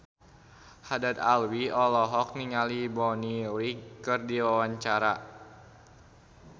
Haddad Alwi olohok ningali Bonnie Wright keur diwawancara